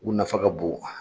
U nafa ka bon